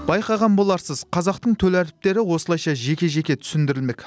байқаған боларсыз қазақтың төл әріптері осылайша жеке жеке түсіндірілмек